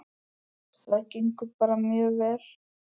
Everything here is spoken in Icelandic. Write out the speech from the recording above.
Það gengur bara mjög vel.